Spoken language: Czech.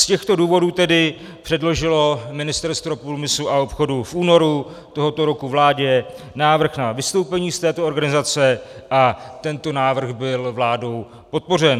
Z těchto důvodů tedy předložilo Ministerstvo průmyslu a obchodu v únoru tohoto roku vládě návrh na vystoupení z této organizace a tento návrh byl vládou podpořen.